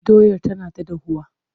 Doyar tana ta dahuwa.